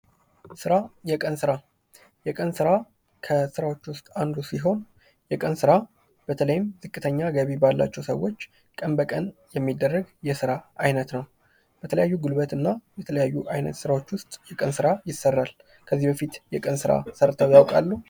ስራ የቀን ስራ ከስራዎች ውስጥ አንዱ ሲሆን የቀን ስራ በተለይም ዝቅተኛ ገቢ ባላቸው ሰዎች ቀን በቀን የሚደረግ የስራ አይነት ነው የተለያዩ የጉልበትና የተለያዩ አይነት ስራዎች ውስጥ ስራ ይሰራል። ከዚህ በፊት የቀን ሰርተው ያውቃሉ?